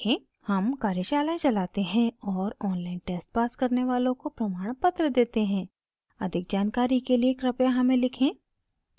हम कार्यशालाएं चलाते हैं और ऑनलाइन टेस्ट पास करने वालों को प्रमाणपत्र देते हैं अधिक जानकारी के लिए कृपया हमें लिखें